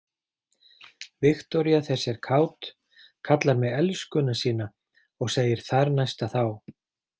Viktoría þessi er kát, kallar mig elskuna sína og segir þarnæsta þá.